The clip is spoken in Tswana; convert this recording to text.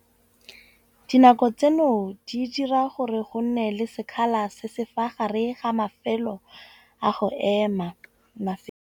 Dinako tseno di dira gore go nne le sekgala se se fa gare ga mafelo a go ema .